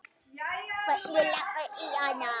Hvernig lagðist það í hana?